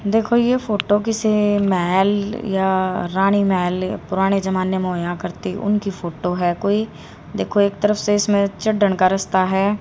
देखो ये फोटो किसी महेल या रानी महेल पुराने जमाने में होया करती उनकी फोटो है कोई देखो एक तरफ से इसमें चढन का रस्ता है।